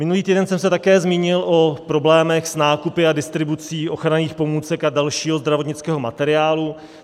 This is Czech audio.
Minulý týden jsem se také zmínil o problémech s nákupy a distribucí ochranných pomůcek a dalšího zdravotnického materiálu.